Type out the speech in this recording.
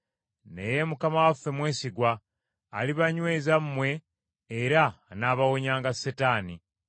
Naye Mukama waffe mwesigwa, alibanyweza mmwe era anaabawonyanga Setaani.